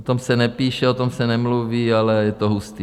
O tom se nepíše, o tom se nemluví, ale je to hustý.